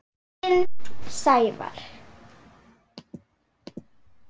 Þinn, Sævar.